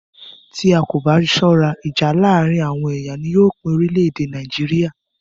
Tí a kò bá ṣọ́rá, ìjà láàárín àwọn ẹ̀yà ni yóò pín orílẹ̀-èdè Nàìjíríà.